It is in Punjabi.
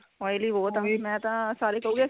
oily ਬਹੁਤ ਆ ਵੀ ਮੇਂ ਤਾਂ ਸਾਰੇ ਕਹੁਗੇ